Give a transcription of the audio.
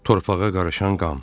Torpağa qarışan qan.